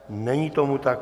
Není tomu tak.